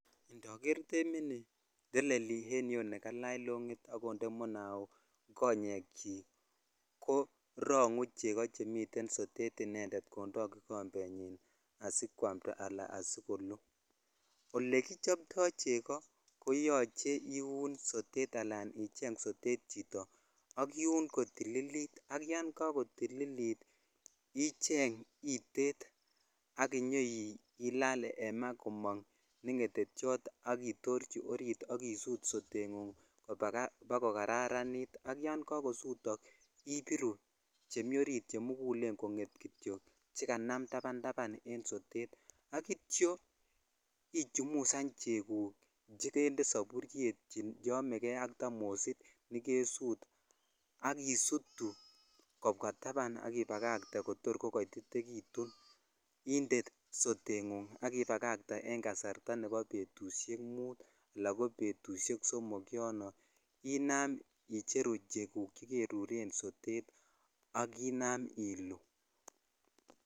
Indoger demini teleli en yu nekalach longit ak kolach munaok konyechik korongu chekoo chemiten sotet inendee jondoi kikombenyi asikwamta ala asikoluu ole kichobto cheko koyoche iwon sotetala icheng sotet chito ak iwon kotililit ak ya kakotililit icheng itet ak inyoilal en maa komok ne ngetetyo ak itorchi orit ak isut sotenfunf bakokararanit ak yan kakosotok ibiru chemi orit chamokulen konget kityok che kanam tapn tapnen sotet akityo ichumusan cheguk chekede savuryet cheomekei ak sotet nekesut ak isutu kobwa tapan ak ibakatee kotor kokotitekitun inde sotengung ak ibakatee an kasarta nebo betushek mut ala ko somk inam icheru cheguu cheguu che keruren sotet ak inam iluu.